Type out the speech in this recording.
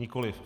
Nikoliv.